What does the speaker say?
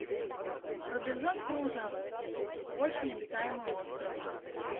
робинзон крузо очень обитаемый остров